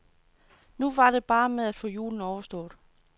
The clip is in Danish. Nu var det bare med at få julen overstået.